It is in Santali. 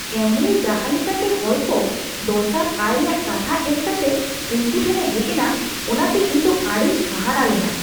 ᱮᱢᱳᱭᱮ ᱡᱟᱦᱟᱸ ᱞᱮᱠᱟᱛᱮ ᱦᱚᱲ ᱠᱚ ᱫᱚᱥᱟᱨ ᱟᱭ ᱨᱮᱭᱟᱜ ᱠᱟᱛᱷᱟ ᱮᱢ ᱠᱟᱛᱮ ᱩᱱᱠᱩ ᱴᱷᱮᱱ ᱮ ᱦᱮᱡ ᱮᱱᱟ, ᱚᱱᱟ ᱛᱮ ᱤᱧ ᱫᱚ ᱟᱹᱰᱤᱧ ᱦᱟᱦᱟᱲᱟᱜ ᱞᱮᱱᱟ ᱾